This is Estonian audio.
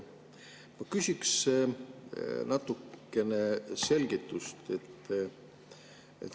Ma küsin natukene selgitust.